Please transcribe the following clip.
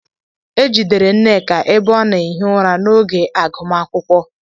Ejidere nneka ebe o na ehi ụra n'oge agumakwukwo.